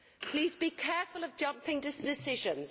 Please be careful of jumping to decisions.